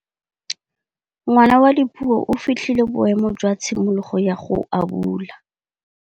Ngwana wa Dipuo o fitlhile boêmô jwa tshimologô ya go abula.